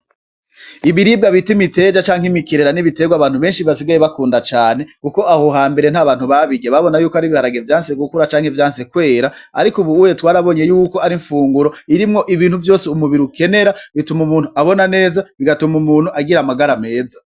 Ibiribwa bita imiteja canke imikerera ni ibiterwa abantu basigaye bakunda cane kuko aho hambere nta bantu babirya. Babona ko ari ibiharage vyanse gukura canke vyanse kera, ariko ubu twarabonye ko ari imfunguro irimwo ibintu vyose umubiri ukenera. Bituma umuntu abona neza, bigatuma umuntu agira amagara meza.